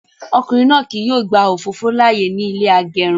Ọkùnrin náà kí yóò gba òfófó láàyè ní ilé agẹrun